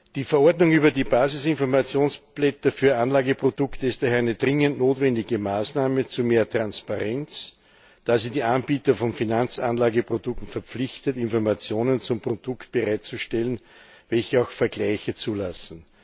Die Verordnung über die Basisinformationsblätter für Anlageprodukte ist daher eine dringend notwendige Maßnahme zu mehr Transparenz, da sie die Anbieter von Finanzanlageprodukten verpflichtet, Informationen zum Produkt bereitzustellen, welche auch Vergleiche zulassen.